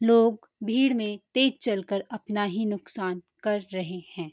लोग भीड़ में तेज चलकर अपना ही नुकसान कर रहे हैं।